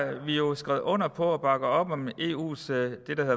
vi jo skrevet under på at bakke op om det der eus